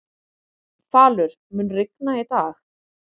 Falur, mun rigna í dag?